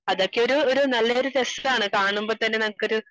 അതാച്ച ഒരു, ഒരു നല്ല രസാണ് കാണുമ്പോ തന്നെ നമുക്ക് ഒരു